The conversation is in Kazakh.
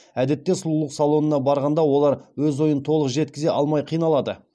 әдетте сұлулық салонына барғанда олар өз ойын толық жеткізе алмай қиналады